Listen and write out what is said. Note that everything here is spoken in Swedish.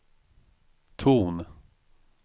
ton